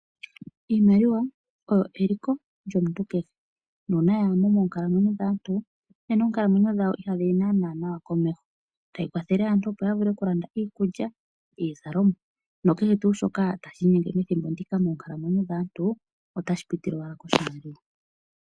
Iimaliwa oyo eliko lyomuntu kehe, nuuna yaa mo moonkalamweyo dhaantu nena oonkalamweyo dhawo ihadhi yi naana nawa komeho. Tayi kwathele aantu opo ya vule okulanda iikulya, iizalomwa no kehe tuu shoka tashi inyenge methimbo ndika moonkalamweyo dhaantu, ota shi piti owala koshimaliwa.